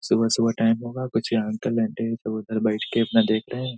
सुबह-सुबह टाइम होगा कुछ यहां अंकल आंटी सब उधर बैठ के अपना देख रहे है।